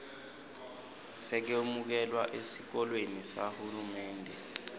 sekwemukelwa esikolweni sahulumende